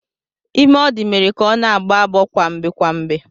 Ime ọ dị mere ka ọ na-agbọ agbọọ kwamgbe kwamgbe.